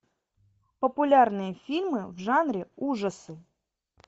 популярные фильмы в жанре ужасы